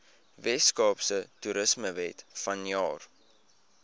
weskaapse toerismewet vanjaar